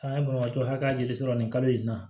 An ka banabaatɔ hakɛya joli sɔrɔ nin kalo in na